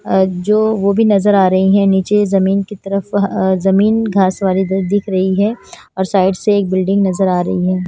अह जो वो भी नजर आ रही हैं नीचे जमीन की तरफ अह जमीन घास वाली दिख रही है और साइड से एक बिल्डिंग नजर आ रही है।